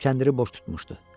Kəndiri boş tutmuşdu.